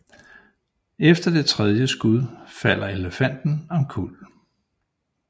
Efter det tredje skud falder elefanten omkuld